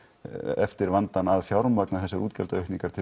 eftir vandann að fjármagna þessar útgjaldaaukningar til